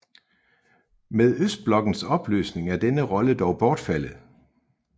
Med østblokkens opløsning er denne rolle dog bortfaldet